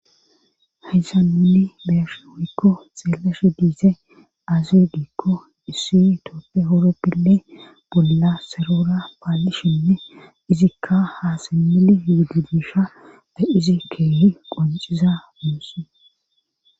haysanuni beershe woyikko xeeleshe diise aaziudikko issi tooppe oroppile bolla sarora paallishinne izikka haasemili yuudu disha be izi keehi qonciza muusse